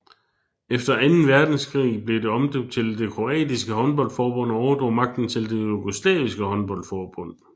Efter anden verdenskrig blev det omdøbt til det kroatiske håndboldforbund og overdrog magten til det jugoslaviske håndboldforbund